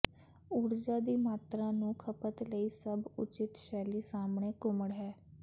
ਊਰਜਾ ਦੀ ਮਾਤਰਾ ਨੂੰ ਖਪਤ ਲਈ ਸਭ ਉਚਿਤ ਸ਼ੈਲੀ ਸਾਹਮਣੇ ਘੁਸੜ ਹੈ